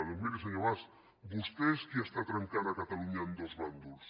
doncs miri senyor mas vostè és qui està trencant catalunya en dos bàndols